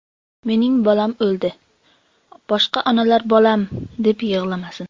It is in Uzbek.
Mening bolam o‘ldi, boshqa onalar bolam, deb yig‘lamasin.